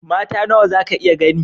Mata nawa zaka iya gani?